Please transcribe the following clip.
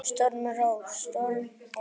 Stormur á storm ofan